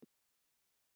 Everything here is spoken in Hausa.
Mama ta dafa cuscus jiya.